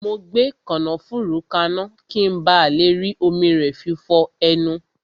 Mo gbé kànáfùrú kaná, ki n ba le rí omi rẹ fi fọ ẹnu